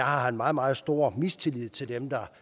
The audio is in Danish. har meget meget stor mistillid til dem der